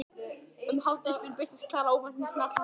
Um hádegisbil birtist Klara óvænt með snarl handa þeim báðum.